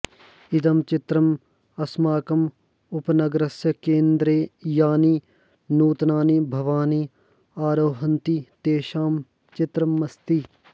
इदं चित्रं अस्माकम् उपनगरस्य केन्द्रे यानि नूतनानि भवानि आरोहन्ति तेषां चित्रमस्ति